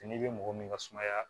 N'i bɛ mɔgɔ min ka sumaya